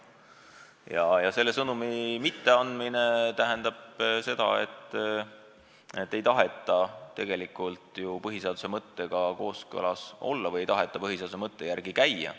Kui me seda sõnumit ei anna, siis see tähendab seda, et me ei taha tegelikult põhiseaduse mõttega kooskõlas olla või ei taha põhiseaduse mõtte järgi käia.